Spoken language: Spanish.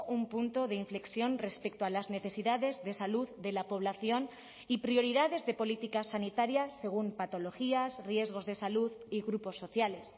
un punto de inflexión respecto a las necesidades de salud de la población y prioridades de política sanitaria según patologías riesgos de salud y grupos sociales